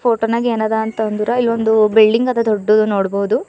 ಫೋಟೋನಾಗೇನದ ಅಂತಂದ್ರೆ ಇಲ್ಲೊಂದು ಬಿಲ್ಡಿಂಗ್ ಅದ ದೊಡ್ಡದು ನೋಡ್ಬೋದು.